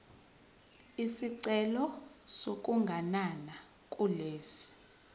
isicelo sokuganana kulesi